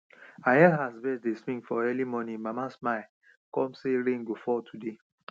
i hear as birds dey sing for early morning mama smile come say rain go fall today